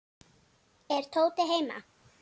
Er Tóti heima?